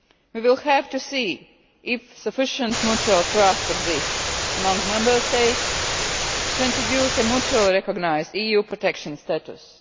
We will have to see if sufficient mutual trust exists among Member States to introduce a mutually recognised EU protection status.